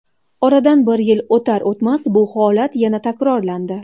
Oradan bir yil o‘tar-o‘tmas, bu holat yana takrorlandi.